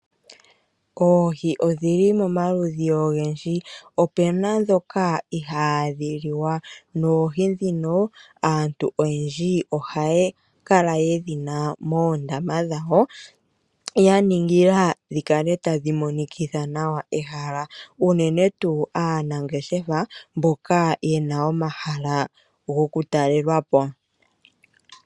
Oohii odhi li pamaludhi ogendji. Opu na ndhoka ihaadhi liwa. Aantu ohaa kala yedhi na moondama dhawo ya ningila dhi kale tadhi monikitha ehala nawa ,unene tuu aanangeshefa mboka ye na omahala goku talelwapo.